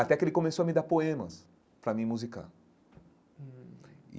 Até que ele começou a me dar poemas para me musicar hum.